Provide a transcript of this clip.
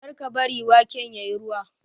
kar ka bari waken ya yi ruwa!